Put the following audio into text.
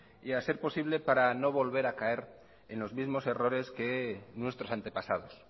y a ser posible para no volver a caer en los mismos errores que nuestros antepasados